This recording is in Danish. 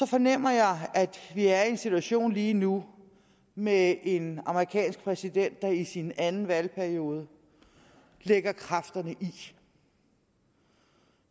fornemmer jeg at vi er en situation lige nu med en amerikansk præsident der i sin anden valgperiode lægger kræfterne i